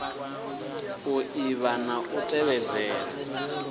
u ḓivha na u tevhedzela